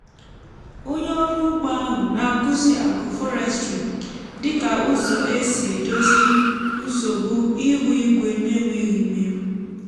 onye ọrụ ugbo ahụ na-akụzi agroforestry dịka ụzọ e si edozi nsogbu ihu igwe n’enweghị imerụ.